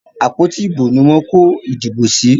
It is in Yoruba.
Àpótí ìbò ni wọ́n kó ìdìbò sí